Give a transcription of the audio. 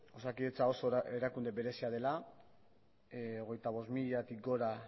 osakidetza oso erakunde berezia dela hogeita bost mila gora